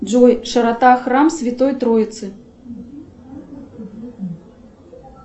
джой широта храм святой троицы